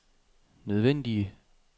nødvendige